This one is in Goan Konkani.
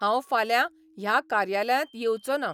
हांव फाल्यां ह्या कार्यालयांत येवचों ना.